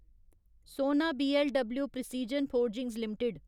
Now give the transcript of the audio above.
सोना BLW precision forgings limited